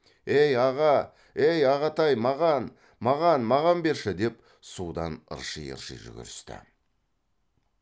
ей аға әй ағатай маған маған маған берші деп судан ырши ырши жүгірісті